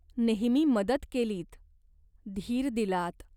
नेहमी मदत केलीत. धीर दिलात.